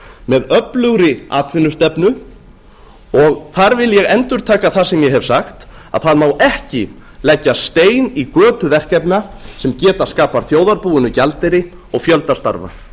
með öflugri atvinnustefnu og þar vil ég endurtaka það sem ég hef sagt að það má ekki leggja stein í götu verkefna sem geta skapað þjóðarbúinu gjaldeyri og fjölda starfa